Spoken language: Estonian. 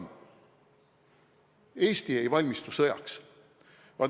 –, et Eesti ei valmistu sõjaks.